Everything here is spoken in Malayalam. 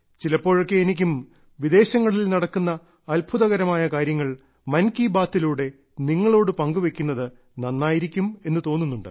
ചിലപ്പോഴൊക്കെ എനിക്കും വിദേശങ്ങളിൽ നടക്കുന്ന അത്ഭുതകരമായ പരിപാടികൾ മൻ കീ ബാത്തിലൂടെ നിങ്ങളോട് പങ്കുവെക്കുന്നത് നന്നായിരിക്കും എന്ന് തോന്നുന്നുണ്ട്